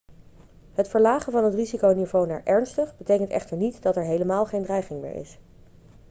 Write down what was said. het verlagen van het risiconiveau naar ernstig betekent echter niet dat er helemaal geen dreiging meer is.'